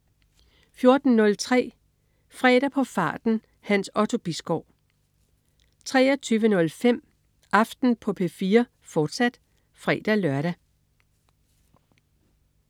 14.03 Fredag på farten. Hans Otto Bisgaard 23.05 Aften på P4, fortsat (fre-lør)